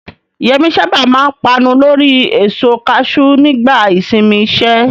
Yemi sábà máa ń panu lórí èso kaṣú nígbà ìsinmi iṣẹ́.